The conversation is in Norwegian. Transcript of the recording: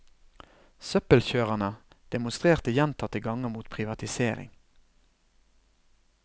Søppelkjørerne demonstrerte gjentatte ganger mot privatisering.